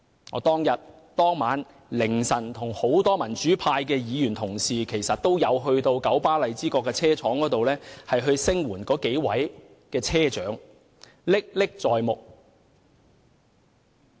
我當天凌晨與多位民主派議員到九巴荔枝角車廠聲援那幾位車長，事件歷歷在目。